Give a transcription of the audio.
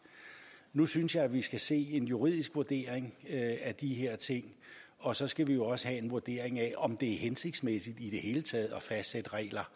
nu synes jeg at vi skal se en juridisk vurdering af de her ting og så skal vi jo også have en vurdering af om det er hensigtsmæssigt i det hele taget at fastsætte regler